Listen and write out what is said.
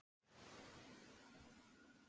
Af þeim var helmingurinn bráðatilvik